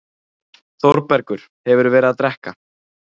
ÞÓRBERGUR: Hefurðu verið að drekka?